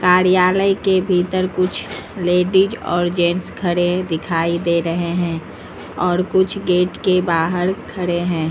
कार्यालय के भीतर कुछ लेडीज़ और जेंट्स खड़े दिखाई दे रहे हैं और कुछ गेट के बाहर खड़े हैं।